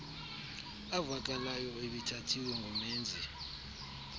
avakalayo ebethathiwe ngumenzi